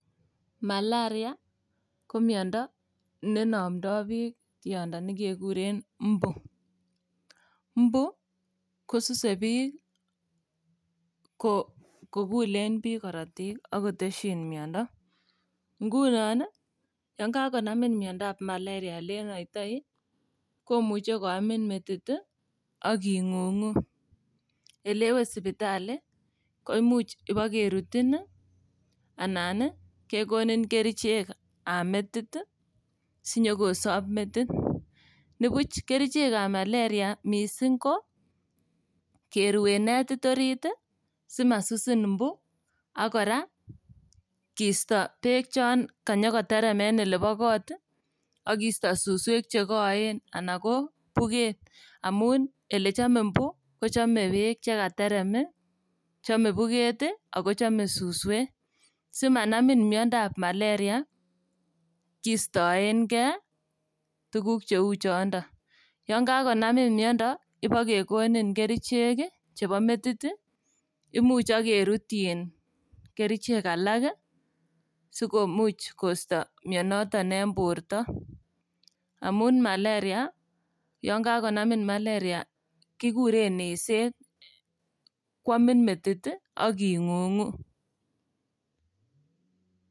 Malaria ko miondo neinomdo biik tiondo nekekuren imbu. Imbu kosuse biik ko kokulen biik korotik ak kotesyin miondo. Ngunon ii yon kakonamin miondab maleria ilenoitoi kmuche koamin metit ii ak ing'ung'u. Elewe sipitali, koimuch ibo kerutin anan kekonin kerichekab metit ii sinyokosob metit. Nibuch kerichekab maleria missing ko keruen netit orit simasusin imbu ak kora kisto beek chon kanyokoterem en ilebo kot ii ak kisto suswek chekoen anan ko buket amun ilechome imbu kochome beek chekaterem ii, chome buket ii ago chome suswek. Simanamin miondap maleria kistoengei tuguk cheu chondon. Yon kakonamin miondo ibo kekonin kerichek ii chebo metit ii imuch ak kerutyin kerichek alak ii sikomuch koisto mionoton en borto amun maleria yon kagonamin maleria kikuren eset kwomin metit ii ak ing'ung'u.